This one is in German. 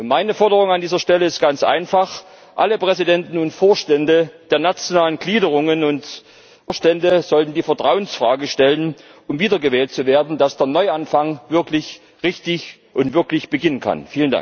Meine Forderung an dieser Stelle ist ganz einfach Alle Präsidenten und Vorstände der nationalen Gliederungen und Vorstände sollten die Vertrauensfrage stellen, um wiedergewählt zu werden, sodass dann der Neuanfang wirklich richtig und wirklich beginnen kann.